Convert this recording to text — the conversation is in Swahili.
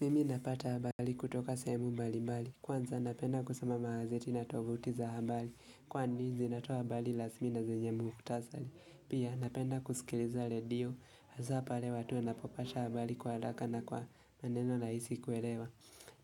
Mimi napata habali kutoka sehemu mbalimbali. Kwanza napenda kusoma magazeti na tovuti za habali. Kwani zinatoa habali lasmi na zenye muktasali. Pia napenda kusikiliza ledio. Hasa pale watu wanapopasha habali kwa alaka na kwa maneno laisi kuelewa.